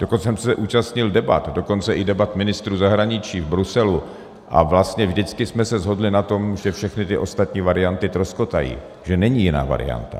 Dokonce jsem se účastnil debat, dokonce i debat ministrů zahraničí v Bruselu, a vlastně vždycky jsme se shodli na tom, že všechny ty ostatní varianty troskotají, že není jiná varianta.